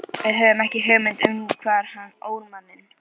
Við höfðum ekki hugmynd um hvar hann ól manninn.